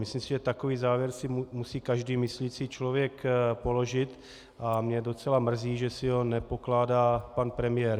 Myslím si, že takový závěr si musí každý myslící člověk položit, a mě docela mrzí, že si ho nepokládá pan premiér.